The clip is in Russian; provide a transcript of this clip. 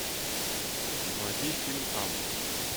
заводи фильм август